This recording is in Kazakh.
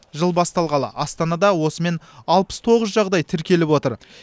жыл басталғалы астанада осымен алпыс тоғыз жағдай тіркеліп отыр